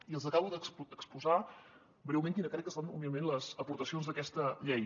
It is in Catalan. i els acabo de exposar breument quines crec que són humilment les aportacions d’aquesta llei